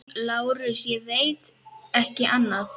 LÁRUS: Ég veit ekki annað.